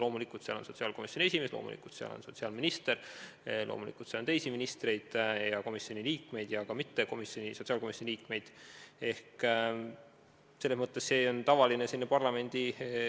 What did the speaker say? Loomulikult on seal sotsiaalkomisjoni esimees, loomulikult on seal sotsiaalminister, loomulikult on seal teisi ministreid ja sotsiaalkomisjoni liikmeid ja ka muid inimesi.